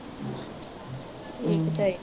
ਠੀਕ ਹੀ ਚਾਹੀਦਾ